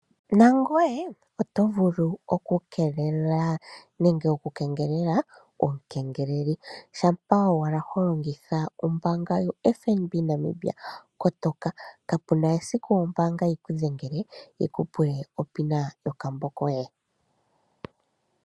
Nangoye oto vulu okukengelela omukengeleli. Shampa owala ho longitha ombaanga yoFNB Namibia kotoka, kapu na esiku ombaanga yi ku dhengele yi ku pule onomola yomeholamo yokambo koye.